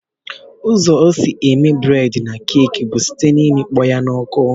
Ụzọ esi eme bred na cake bu site na imikpọya na ọkụ.